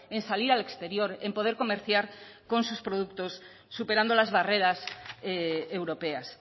en salir al exterior en poder comerciar con sus productos superando las barreras europeas